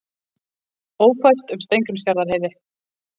Ófært um Steingrímsfjarðarheiði